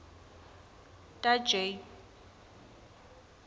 ta j